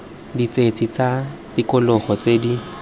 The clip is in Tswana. ditshedi tsa tikologo tse di